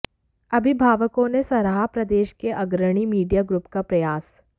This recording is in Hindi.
अभिभावकों ने सराहा प्रदेश के अग्रणी मीडिया ग्रुप का प्रयास